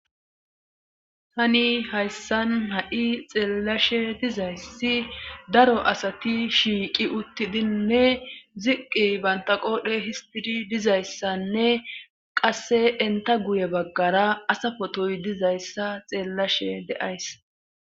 Tani hayssan ha7i xeellashe dizayssi daro asati shiiqi uttidinne ziqqi banta qoodhe histidi dizayssanne qasse enta guye baggara asa potoy dizayssa xeellashe de7ays